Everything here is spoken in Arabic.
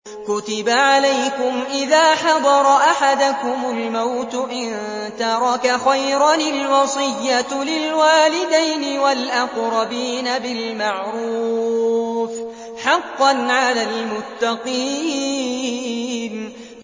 كُتِبَ عَلَيْكُمْ إِذَا حَضَرَ أَحَدَكُمُ الْمَوْتُ إِن تَرَكَ خَيْرًا الْوَصِيَّةُ لِلْوَالِدَيْنِ وَالْأَقْرَبِينَ بِالْمَعْرُوفِ ۖ حَقًّا عَلَى الْمُتَّقِينَ